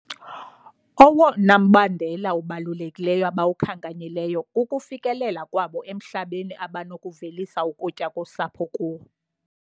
Owona mbandela ubalulekileyo abawukhankanyileyo kukufikelela kwabo emhlabeni abanokuvelisa ukutya kosapho kuwo.